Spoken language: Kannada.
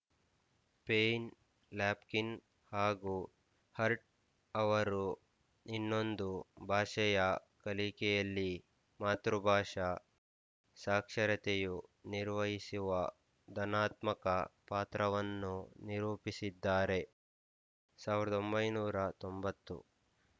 ಪೈನ್ ಲ್ಯಾಪ್‍ಕಿನ್ ಹಾಗೂ ಹರ್ಟ್ ಅವರು ಇನ್ನೊಂದು ಭಾಷೆಯ ಕಲಿಕೆಯಲ್ಲಿ ಮಾತೃಭಾಷಾ ಸಾಕ್ಷರತೆಯು ನಿರ್ವಹಿಸುವ ಧನಾತ್ಮಕ ಪಾತ್ರವನ್ನು ನಿರೂಪಿಸಿದ್ದಾರೆ ಸಾವಿರದ ಒಂಬೈನೂರ ತೊಂಬತ್ತು